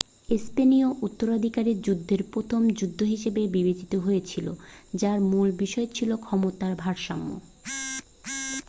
স্পেনীয় উত্তরাধিকারের যুদ্ধ প্রথম যুদ্ধ হিসাবে বিবেচিত হয়েছিল যার মূল বিষয় ছিল ক্ষমতার ভারসাম্য